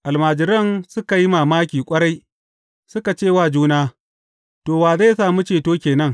Almajiran suka yi mamaki ƙwarai, suka ce wa juna, To, wa zai sami ceto ke nan?